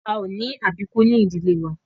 A ò ní àbíkú ní ìdílé wa